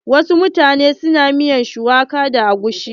Wasu mutanen na miyar shuwaka da agushi.